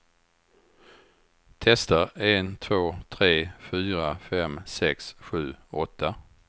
Testar en två tre fyra fem sex sju åtta.